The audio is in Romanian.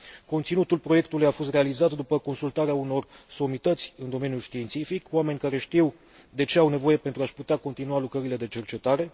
Conținutul proiectului a fost realizat după consultarea unor somități în domeniul științific, oameni care știu de ce au nevoie pentru a și putea continua lucrările de cercetare.